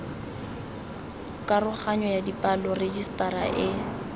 karoganyo ya dipalo rejisetara e